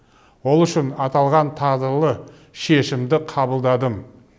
ол үшін аталған тағдырлы шешімді қабылдадым